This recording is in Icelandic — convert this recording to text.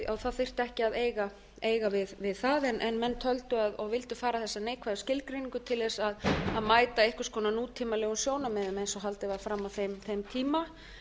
það þyrfti að ekki að eiga við það en menn töldu og vildu fara þessa neikvæðu skilgreiningu til þess að mæta einhvers konar nútímalegum sjónarmiðum eins og haldið var fram á þeim tíma